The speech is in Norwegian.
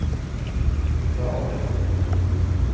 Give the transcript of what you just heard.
Fjaler